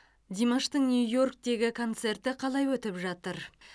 димаштың нью йорктегі концерті қалай өтіп жатыр